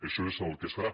això és el que es farà